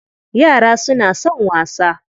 Yara suna son wasa.